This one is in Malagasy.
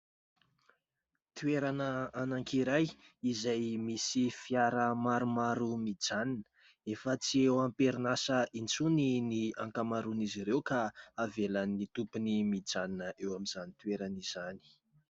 Toerana anankiray izay misy fiara maromaro mijanona. Efa tsy eo amperinasa intsony ny ankamaroan'izy ireo ka havelan'ny tompony mijanona eo amin'izany toerana izany.